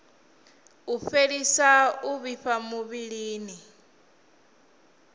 u fhelisa u vhifha muvhilini